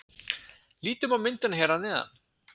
Lítum á myndina hér að neðan.